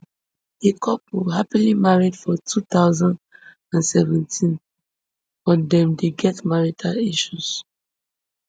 di couple happily marry for two thousand and seventeen but dem dey get marital issues